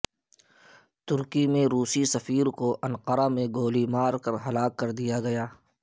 ترکی میں روسی سفیر کو انقرہ میں گولی مار کر ہلاک کرد یا گیا